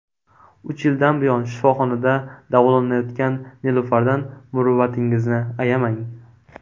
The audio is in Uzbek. Uch yildan buyon shifoxonada davolanayotgan Nilufardan muruvvatingizni ayamang!.